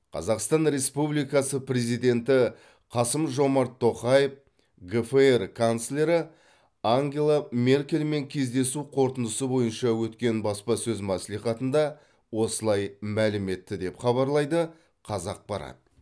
қазақстан республикасы президенті қасым жомарт тоқаев гфр канцлері ангела меркельмен кездесу қорытындысы бойынша өткен баспасөз мәслихатында осылай мәлім етті деп хабарлайды қазақпарат